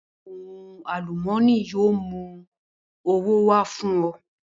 Ohun àlùmọ́nì yóò mú ọrọ̀ wá fún ọ